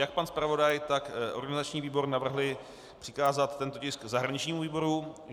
Jak pan zpravodaj, tak organizační výbor navrhl přikázat tento tisk zahraničnímu výboru.